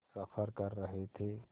सफ़र कर रहे थे